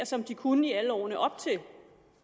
som de kunne i alle årene op til